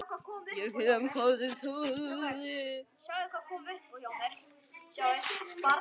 Ég kem með sagði Tóti.